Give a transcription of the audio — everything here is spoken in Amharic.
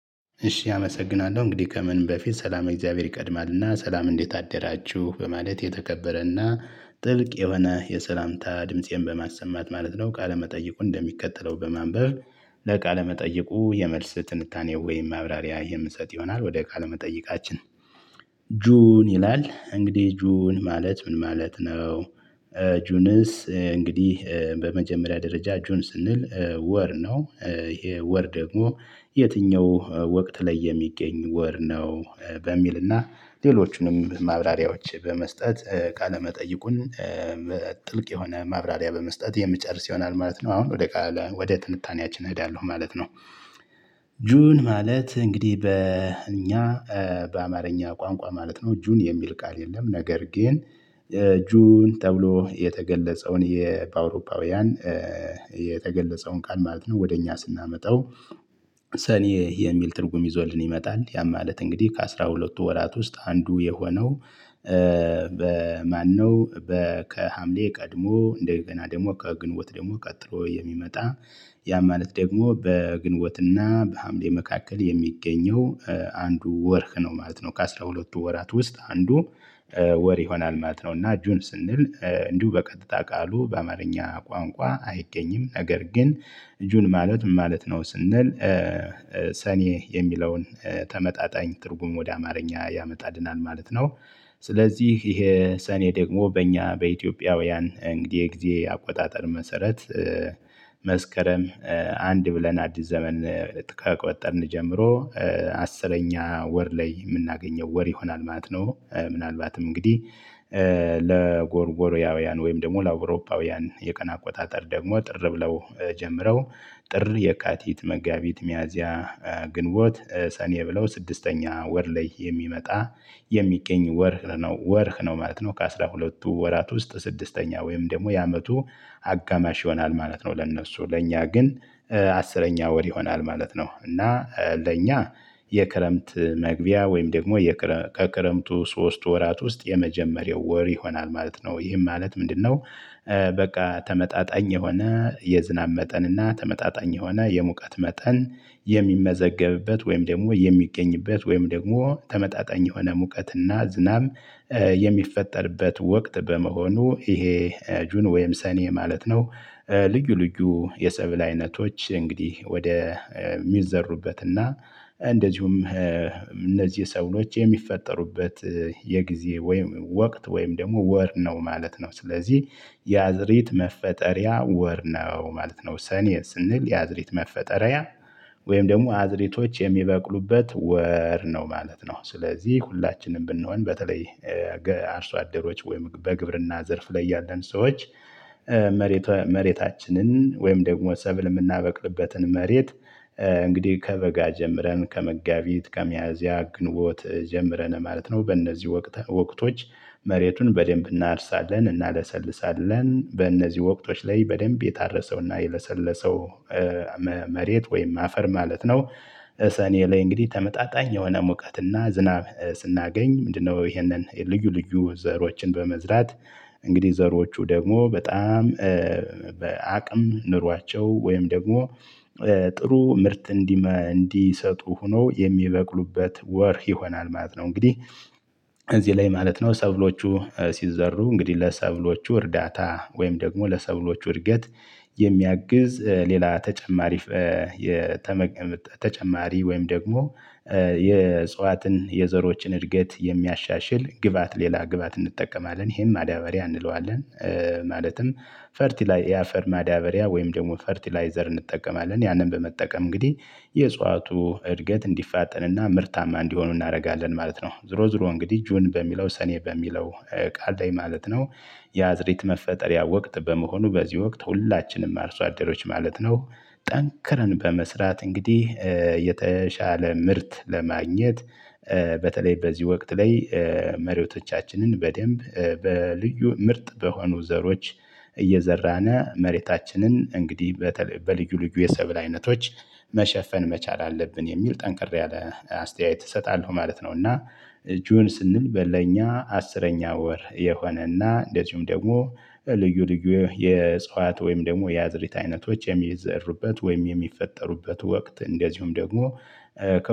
እሺ አመሰግናለሁ እንግዲህ ከምን በፊት ሰላም እግዚአብሔር ይቀድማልና ሰላም እንዴት አደራችሁ በማለት የተከበረና ጥልቅ የሆነ የሰላምታ ድምፄን በማሰማት ማለት ነው ቃለመጠየቁ እንደሚከተለው በማንበብ። ለቃለ መጠየቁ የመልስ ትንታኔው ወይም ማብራሪያ የምሰጥ ይሆናል ወደ ቃለ መጠይቃችን። ጁን ይላል እንግዲህ ጁን ማለት ምን ማለት ነው? ጁንስ እንግዲህ በመጀመሪያ ደረጃ ጆን ስንል ወር ነው ይሄ ወር ደግሞ የትኛው ወቅት ላይ የሚገኝ ወር ነው? በሚልና ሌሎቹንም ማብራሪያዎች በመስጠት ቃለመጠየቁን ጥልቅ የሆነ ማብራሪያ በመስጠት የምጨርስ ይሆናል ማለት ነው። አሁን ወደ ቃለ ወደ ትንታኔያችን እሄዳለሁ ማለት ነው። ጁን ማለት እንግዲህ በእኛ በአማርኛ ቋንቋ ማለት ነው ጁን የሚል ቃል የለም። ነገር ግን ጁን ተብሎ የተገለጸውን በአውሮፓውያን የተገለጸውን ቃል ማለት ነው ወደ እኛ ስናመጣው ሰኔ የሚል ትርጉም ይዞልን ይመጣል ያ ማለት እንግዲህ ከአሥራ ሁለትቱ ወራት ውስጥ አንዱ የሆነው። በማነው በ ከሀምሌ ቀድሞ እንደገና ደግሞ ከግንቦት ደግሞ ቀጥሎ የሚመጣ ያ ማለት ደግሞ በግንቦትና በሐምሌ መካከል የሚገኘው አንዱ ወርህ ነው ማለት ነው። ከአሥራ ሁለትቱ ወራት ውስጥ አንዱ ወር ይሆናል ማለት ነው። እና ጁን ስንል እንዲሁ በቀጥታ ቃሉ በአማርኛ ቋንቋ አይገኝም። ነገር ግን ጁን ማለት ምን ማለት ነው ስንል ሰኔ የሚለውን ተመጣጣኝ ትርጉም ወደ አማርኛ ያመጣልናል ማለት ነው። ስለዚህ ይሄ ሰኔ ደግሞ በእኛ በኢትዮጵያውያን እንግዲህ የጊዜ አቆጣጠር መሰረት መስከረም አንድ ብለን አዲስ ዘመን ከቆጠርን ጀምሮ አስረኛ ወር ላይ የምናገኘው ወር ይሆናል ማለት ነው። ምናልባትም እንግዲህ ለጎርጎርያውያን ወይም ደግሞ ለአውሮፓውያን የቀን አቆጣጠር ደግሞ ጥር ብለው ጀምረው ጥር የካቲት መጋቢት ሚያዚያ ግንቦት ሰኔ ብለው ስድስተኛ ወር ላይ የሚመጣ የሚገኝ ወርህ ነው ወርህ ነው ማለት ነው። ከአሥራ ሁለትቱ ወራት ውስጥ ስድስተኛ ወይም ደግሞ የአመቱ አጋማሽ ይሆናል ማለት ነው። ለእነሱ ለእኛ ግን አስረኛ ወር ይሆናል ማለት ነው። እና ለእኛ የክረምት መግቢያ ወይም ደግሞ ከክረምቱ ሶስት ወራት ውስጥ የመጀመሪያው ወር ይሆናል ማለት ነው። ይህም ማለት ምንድነው? በቃ ተመጣጣኝ የሆነ የዝናብ መጠን እና ተመጣጣኝ የሆነ የሙቀት መጠን የሚመዘገብበት ወይም ደግሞ የሚገኝበት ወይም ደግሞ ተመጣጣኝ የሆነ ሙቀትና ዝናብ የሚፈጠርበት ወቅት በመሆኑ ይሄ ጁን ወይም ሰኔ ማለት ነው። ልዩ ልዩ የሰብል አይነቶች እንግዲህ ወደ የሚዘሩበት እና እንደዚሁም እነዚህ ሰብሎች የሚፈጠሩበት የጊዜ ወይም ወቅት ወይም ደግሞ ወር ነው ማለት ነው። ስለዚህ ያዝሬት መፈጠሪያ ወር ነው ማለት ነው። ሰኔ ስንል የአዝሬት መፈጠሪያ ወይም ደግሞ አዝሬቶች የሚበቅሉበት ወር ነው ማለት ነው። ስለዚህ ሁላችንም ብንሆን በተለይ አርሶ አደሮች ወይም በግብርና ዘርፍ ላይ ያለን ሰዎች መሬታችንን ወይም ደግሞ ሰብል የምናበቅልበትን መሬት እንግዲህ ከበጋ ጀምረን ከመጋቢት ከሚያዝያ ግንቦት ጀምረን ማለት ነው በእነዚህ ወቅት ወቅቶች መሬቱን በደንብ እናርሳለን እናለሰልሳለን በእነዚህ ወቅቶች ላይ በደንብ የታረሰውና የለሰለሰው መሬት ወይም አፈር ማለት ነው። ሰኔ ላይ እንግዲህ ተመጣጣኝ የሆነ ሙቀትና ዝናብ ስናገኝ ምንድነው? ይሄንን ልዩ ልዩ ዘሮችን በመዝራት እንግዲህ ዘሮቹ ደግሞ በጣም በአቅም ኑሯቸው ወይም ደግሞ ጥሩ ምርት እንዲሰጡ ሆኖ የሚበቅሉበት ወር ይሆናል ማለት ነው። እንግዲህ እዚህ ላይ ማለት ነው ሰብሎቹ ሲዘሩ እንግዲህ ለሰብሎቹ እርዳታ ወይም ደግሞ ለሰብሎቹ እድገት የሚያግዝ ሌላ ተጨማሪ የተቀመጠ ተጨማሪ ወይም ደግሞ የእጽዋትን የዘሮችን እድገት የሚያሻሽል ግባት ሌላ ግባት እንጠቀማለን ይሄም ማዳበሪያ እንለዋለን። ማለትም ፈርቲላይ የአፈር ማዳበሪያ ወይም ደግሞ ፈርቲላይዘር እንጠቀማለን ያንን በመጠቀም እንግዲህ የእጽዋቱ እድገት እንዲፋጠንና ምርታማ እንዲሆኑ እናደርጋለን ማለት ነው። ዞሮ ዞሮ እንግዲህ ጁን በሚለው ሰኔ በሚለው ቃል ላይ ማለት ነው። የአዝሪት መፈጠሪያ ወቅት በመሆኑ በዚህ ወቅት ሁላችንም አርሶ አደሮች ማለት ነው ጠንክረን በመስራት እንግዲህ የተሻለ ምርት ለማግኘት በተለይ በዚህ ወቅት ላይ መሪቶቻችንን በደንብ በልዩ ምርጥ በሆኑ ዘሮች እየዘራነ መሬታችንን እንግዲህ በልዩ ልዩ የሰብል አይነቶች መሸፈን መቻል አለብን የሚል ጠንከር ያለ አስተያየት እሰጣለሁ ማለት ነው። እና ጁን ስንል ለኛ አስረኛ ወር የሆነና እንደዚሁም ደግሞ ልዩ ልዩ የዕጽዋትዋት ወይም ደግሞ ያዝሪት አይነቶች የሚዘሩበት ወይም የሚፈጠሩበት ወቅት እንደዚሁም ደግሞ